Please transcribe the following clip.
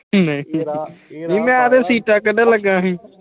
ਨਹੀਂ ਮੈਂ ਤਾਂ ਸੀਤਾ ਕੱਡਣ ਲੱਗਾ ਸੀ।